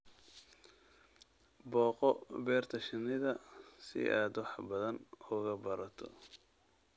Booqo beerta shinnida si aad wax badan uga barato.